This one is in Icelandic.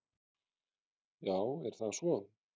Já, er það svo?